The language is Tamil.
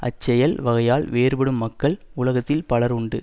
அச் செயல் வகையால் வேறுபடும் மக்கள் உலகத்தில் பலர் உண்டு